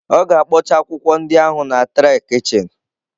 Ọ ga-akpọcha akwụkwọ ndị ahụ na tray kichin.